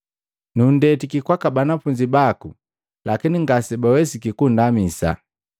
Nunndetiki kwaaka banafunzi baku lakini ngase bawesiki kunndamisa.”